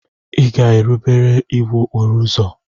Ị ga-erubere iwu okporo ụzọ.